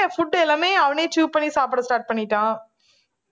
food எல்லாமே அவனே chew பண்ணி சாப்பிட start பண்ணிட்டான்